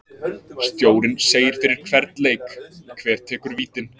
Stjórinn segir fyrir hvern leik hver tekur vítin.